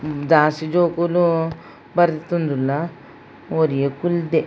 ಜಾಸ್ತಿ ಜೋಕುಲು ಪರ್ತೊಂದುಲ್ಲ ಒರಿಯೆ ಕುಲ್ದೆ.